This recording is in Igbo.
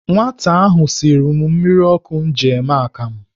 Nwata ahụ siri mmiri ọkụ m ji eme akam.